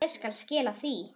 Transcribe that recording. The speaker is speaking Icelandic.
Ég skal skila því.